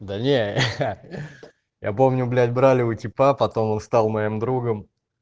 да не ха я помню блять брали у типа потом он стал моим другом